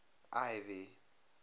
ivy